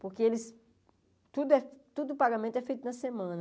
Porque eles tudo é tudo o pagamento é feito na semana